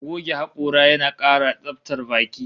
Goge hakora yana kara tsabtar baki